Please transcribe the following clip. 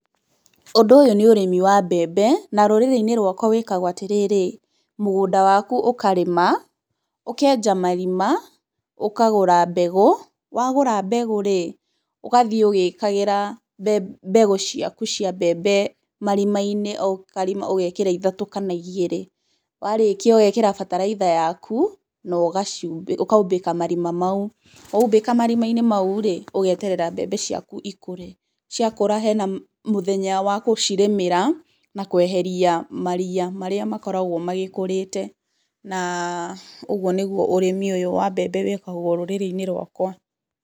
Ũndũ ũyũ nĩ ũrĩmí wa mbebe na rũrĩrĩ-inĩ rwakwa wĩkagwo atĩ rĩrĩ, mũgũnda waku ũkarĩma, ũkenja marima, ũkagũra mbegũ, wagũra mbegũ rĩ, ũgathiĩ ũgĩĩkagĩra mbegũ ciaku cia mbebe marima-inĩ, o karima ũgekĩra ithatũ kana igĩrĩ, warĩkia ũgekĩra bataraitha yaku na ũkaumbĩka marima mau. Waumbĩka marima-inĩ mau rĩ, ũgeterera mbebe ciaku ikũre, ciakũra hena mũthenya wa gũcirĩmĩra, na kũeheria maria marĩa makoragwo magĩkũrĩte. Na ũguo nĩguo ũrĩmi ũyũ wa mbebe wĩĩkagwo rũrĩrĩ-inĩ rwakwa.